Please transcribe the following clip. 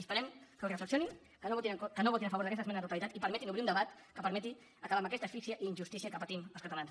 esperem que ho reflexionin que no votin a favor d’aquesta esmena a la totalitat i permetin obrir un debat que permeti acabar amb aquesta asfíxia i injustícia que patim els catalans